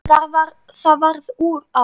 Það varð úr að